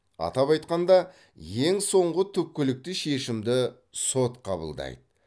атап айтқанда ең соңғы түпкілікті шешімді сот қабылдайды